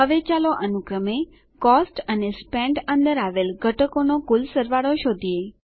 હવે ચાલો અનુક્રમે કોસ્ટ અને સ્પેન્ટ અંદર આવેલ ઘટકોનો કુલ સરવાળો શોધીએ